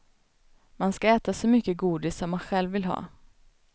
Man ska äta så mycket godis som man själv vill ha.